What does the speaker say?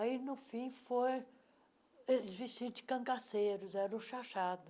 Aí, no fim, foi eles vestidos de cangaceiros, era o xaxado.